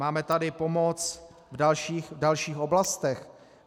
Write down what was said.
Máme tady pomoc v dalších oblastech.